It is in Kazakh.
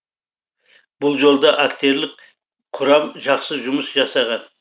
бұл жолда актерлік құрам жақсы жұмыс жасаған